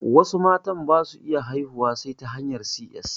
Wasu matan basu iya haihuwa sai ta hanyar 'si ƴes'